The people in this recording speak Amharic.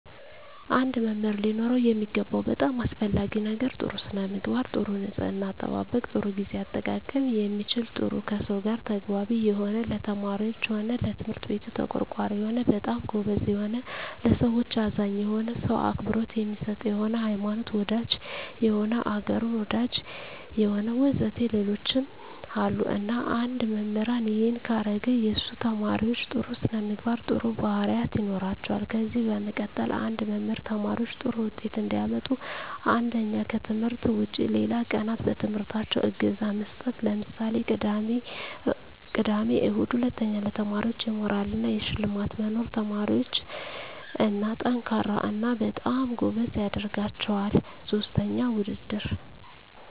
አንድ መምህር ሊኖረው የሚገባው በጣም አሰፈላጊ ነገር ጥሩ ስነምግባር ጥሩ ንጽሕና አጠባበቅ ጥሩ ግዜ አጠቃቀም የሚችል ጥሩ ከሰው ጋር ተግባቢ የሆነ ለተማሪዎች ሆነ ለትምህርት ቤቱ ተቆርቋሪ የሆነ በጣም ጎበዝ የሆነ ለሠዎች አዛኝ የሆነ ሰው አክብሮት የሚሰጥ የሆነ ሀይማኖት ወዳጅ የሆነ አገሩን ወዳጅ የሆነ ወዘተ ሌሎችም አሉ እና አንድ መምህራን እሄን ካረገ የሱ ተመራማሪዎች ጥሩ ስነምግባር ጥሩ ባህሪያት ይኖራቸዋል ከዚ በመቀጠል አንድ መምህር ተማሪዎች ጥሩ ውጤት እንዲያመጡ አንደኛ ከትምህርት ውጭ ሌላ ቀናት በትምህርታቸው እገዛ መስጠት ለምሳሌ ቅዳሜ እሁድ ሁለተኛ ለተማሪዎች የሞራል እና የሽልማት መኖር ተማሪዎች &ጠንካራ እና በጣም ጎበዝ ያደረጋቸዋል ሥስተኛ ውድድር